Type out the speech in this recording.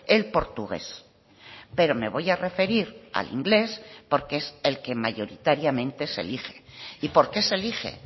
el portugués pero me voy a referir al inglés porque es el que mayoritariamente se elige y por qué se elige